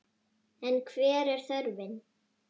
En hver er þörfin?